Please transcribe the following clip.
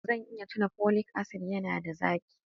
Zan iya tauna folic acid, yana da zaki